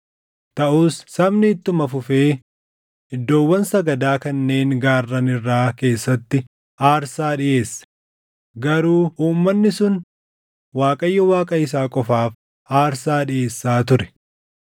Taʼus sabni ittuma fufee iddoowwan sagadaa kanneen gaarran irraa keessatti aarsaa dhiʼeesse; garuu uummanni sun Waaqayyo Waaqa isaa qofaaf aarsaa dhiʼeessaa ture.